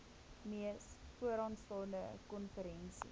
mees vooraanstaande konferensie